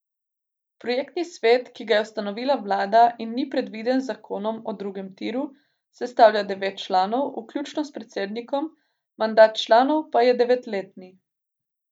Projektni svet, ki ga je ustanovila vlada in ni predviden z zakonom o drugem tiru, sestavlja devet članov, vključno s predsednikom, mandat članov pa je devetletni.